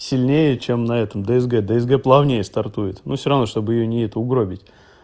сильнее чем на этом дсг дсг плавнее стартует но всё-равно чтобы её не это угробить